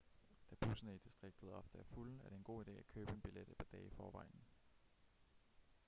da busserne i distriktet ofte er fulde er det en god ide at købe en billet et par dage i forvejen